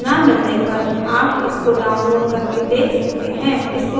अच्छी बैंडविड्थ न मिलने पर आप इसको डाउनलोड करके देख सकते हैं